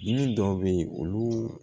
Dimi dɔw be yen olu